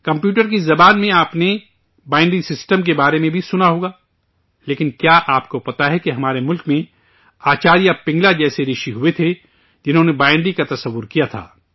computer کی زبان میں آپ نے بائنری سسٹم کے بارے میں بھی سنا ہوگا، لیکن، کیا آپ کو معلوم ہے کہ ہمارے ملک میں آچاریہ پنگلا جیسے رشی ہوئے تھے، جنہوں نے بائنری کا تصور کیا تھا